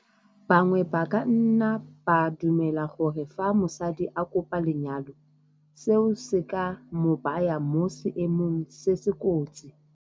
Bangwe ba ka nna ba dumela gore fa mosadi a kopa lenyalo, seo se ka mo baya mo seemong se se kotsi.